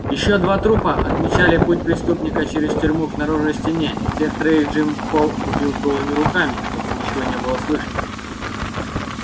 ещё два трупа отмечали путь преступника через тюрьму к наружной стене всех троих джим холл убил голыми руками чтобы ничего не было слышно